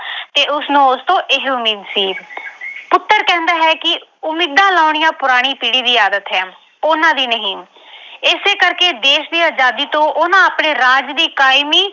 ਤੇ ਉਸਨੂੰ ਉਸਤੋਂ ਇਹੇ ਉਮੀਦ ਸੀ ਪੁੱਤਰ ਕਹਿੰਦਾ ਹੈ ਕਿ ਉਮੀਦਾ ਲਾਉਣੀਆਂ ਪੁਰਾਣੀ ਪੀੜ੍ਹੀ ਦੀ ਆਦਤ ਹੈ ਉਹਨਾਂ ਦੀ ਨਹੀਂ ਇਸੇ ਕਰਕੇ ਦੇਸ਼ ਦੀ ਆਜ਼ਾਦੀ ਤੋਂ ਉਹਨਾਂ ਆਪਣੇ ਰਾਜ ਦੀ ਕਾਇਮੀ